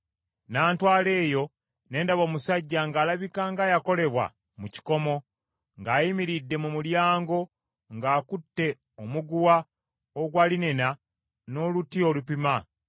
N’antwala eyo, ne ndaba omusajja, ng’alabika ng’ayakolebwa mu kikomo, ng’ayimiridde mu mulyango ng’akutte omuguwa ogwa linena n’oluti olupima.